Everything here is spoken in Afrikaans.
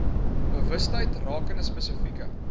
bewustheid rakende spesifieke